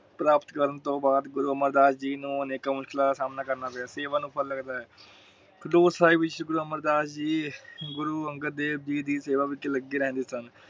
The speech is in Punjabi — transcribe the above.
ਪ੍ਰਾਪਤ ਕਰਨ ਤੋਂ ਬਾਅਦ ਗੁਰੂ ਅਮਰਦਾਸ ਜੀ ਨੂੰ ਅਨੇਕਾਂ ਮੁਸ਼ਕਿਲਾਂ ਦਾ ਸਾਮਣਾ ਕਰਨਾ ਪਿਆ ਸੇਵਾ ਨੂੰ ਫਲ ਲੱਗਦਾ ਹੈ। ਖਡੂਰ ਸਾਹਿਬ ਵਿਚ ਗੁਰੂ ਅਮਰ ਦਾਸ ਜੀ ਗੁਰੂ ਅੰਗਦ ਦੇਵ ਜੀ ਦੀ ਸੇਵਾ ਵਿਚ ਲਗੇ ਰਹਿੰਦੇ ਸਨ।